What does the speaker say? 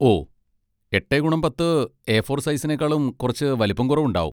ഓ, എട്ടേ ഗുണം പത്ത് എ ഫോർ സൈസിനെക്കാളും കുറച്ച് വലിപ്പം കുറവുണ്ടാകും.